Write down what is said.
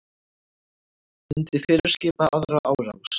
Myndi fyrirskipa aðra árás